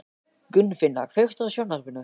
Gunnfinna, kveiktu á sjónvarpinu.